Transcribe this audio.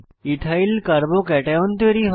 ethyl carbocation ch3 চ2 তৈরী হয়